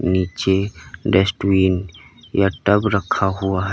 नीचे डस्टबिन या टब रखा हुआ है।